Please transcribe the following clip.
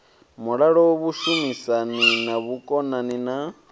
mulalo vhushumisani na vhukonani na